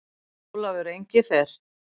Eða Ólafur Engifer.